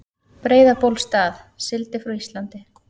Breiðabólsstað, sigldi frá Íslandi.